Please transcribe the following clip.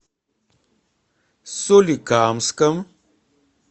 соликамском